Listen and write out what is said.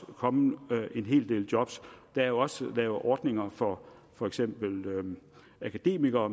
komme en hel del job der er jo også blevet lavet ordninger for for eksempel akademikere